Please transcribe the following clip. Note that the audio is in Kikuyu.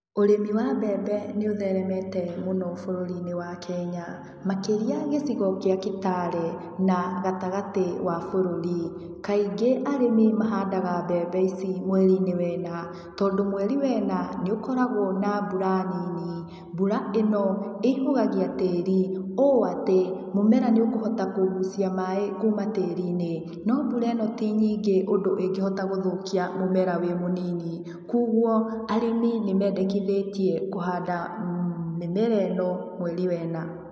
Ũrĩmi wa mbembe nĩ ũtheremete mũno bũrũri-inĩ wa Kenya, makĩria gĩcigo kĩa Kitale na gatagatĩ wa bũrũri, kaingĩ arĩmi mahandaga mbembe ici mweri-inĩ wa ĩna, tondũ mweri wa ĩna nĩũkoragũo na mbũra nini, mbũra ĩno ĩihũgagia tĩĩri ũũ ati mũmera nĩ ũkũhota kũgucia maĩ kũma tĩĩri-inĩ no mbũra ĩno tinyingĩ ũndo ĩngĩhota gũthũkia mũmera wĩmũnini. Kwoguo arĩmi nĩmendekithĩtio kũhanda mĩmera ĩno mweri wa ĩna.